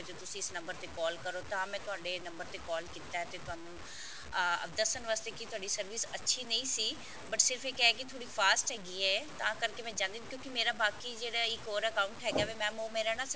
ਤੁਸੀਂ ਇਸ number ਤੇ call ਕਰੋ ਤਾਂ ਮੈਂ ਤੁਹਾਡੇ number ਤੇ call ਕੀਤਾ ਤੇ ਤੁਹਾਨੂੰ ਅਹ ਦੱਸਣ ਵਾਸਤੇ ਕਿ ਤੁਹਾਡੀ service ਅੱਛੀ ਨਹੀਂ ਸੀ but ਸਿਰਫ ਇਹ ਹੈ ਕਿ ਥੋੜੀ fast ਹੈਗੀ ਹੈ ਤਾਂ ਕਰਕੇ ਮੈਂ ਚਾਹੰਦੀ ਹਾਂ ਕਿਉਕਿ ਮੇਰਾ ਬਾਕੀ ਜਿਹੜਾ ਇੱਕ ਹੋਰ account ਹੈਗਾ mam ਉਹ ਮੇਰਾ ਨਾ